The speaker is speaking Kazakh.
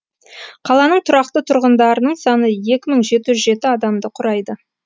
қаланың тұрақты тұрғындарының саны екі мың жеті жүз жеті адамды құрайды